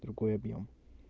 другой объём